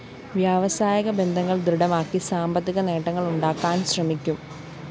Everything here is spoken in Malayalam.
വ്യാവസായിക ബന്ധങ്ങള്‍ ദൃഢമാക്കി സാമ്പത്തിക നേട്ടങ്ങളുണ്ടാക്കാന്‍ ശ്രമിക്കും